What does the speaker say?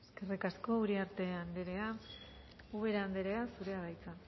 eskerrik asko uriarte anderea ubera anderea zurea da hitza